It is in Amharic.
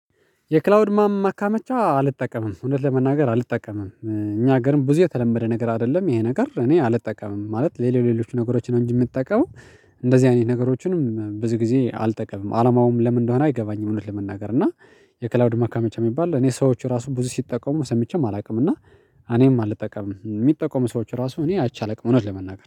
የክላውድ ማ ማካመቻ አልጠቀምም እውነት ለመናገር አልጠቀምም እኛ ሀገርም ብዙ የተለመደ ነገር አይደለም። ይሄ ነገር እኔ አልጠቀምም ማለት ሌሎች ሌሎች ነገሮች ነው። እንጂ የምጠቀመው እንደዚህ አይነት ነገሮችንም ብዙ ጊዜ አልጠቀምም። አላማውም ለምን እንደሆነ አይገባኝም። እውነት ለመናገር እና የክላውድ መካመቻ የሚባል እኔ ሰዎች ራሱ ብዙ ሲጠቀሙ ሰምቼም አላውቅም። እና እኔም አልጠቀምም የሚጠቀሙ ሰዎች ራሱ እኔ አይቼ አላውቅም። እውነት ለመናገር